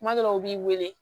Kuma dɔw la u b'i wele